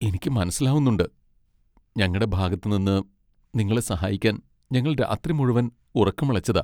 എനിക്ക് മനസ്സിലാവുന്നുണ്ട്, ഞങ്ങടെ ഭാഗത്ത് നിന്ന്, നിങ്ങളെ സഹായിക്കാൻ ഞങ്ങൾ രാത്രി മുഴുവൻ ഉറക്കമിളച്ചതാ.